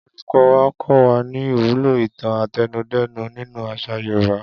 Olùkó̩ wa kó̩ wa ní ìwúlò ìtàn àtẹnudẹ́nu nínú às̩à Yorùbá